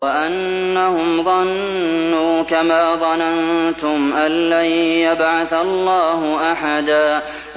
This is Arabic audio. وَأَنَّهُمْ ظَنُّوا كَمَا ظَنَنتُمْ أَن لَّن يَبْعَثَ اللَّهُ أَحَدًا